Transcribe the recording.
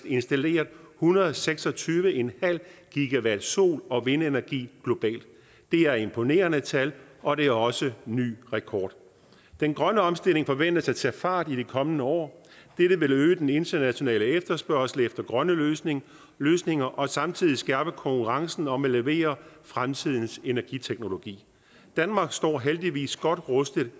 installeret en hundrede og seks og tyve en halv gigawatt sol og vindenergi globalt det er imponerende tal og det er også en ny rekord den grønne omstilling forventes at tage fart i de kommende år det vil øge den internationale efterspørgsel på grønne løsninger løsninger og samtidig skærpe konkurrencen om at levere fremtidens energiteknologi danmark står og heldigvis godt rustet